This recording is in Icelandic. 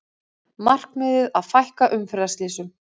Markmiðið að fækka umferðarslysum